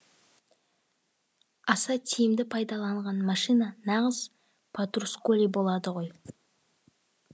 аса тиімді пайдаланған машина нағыз патрусколи болады ғой